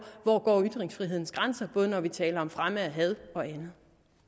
ytringsfrihedens grænse både når vi taler om fremme af had og andet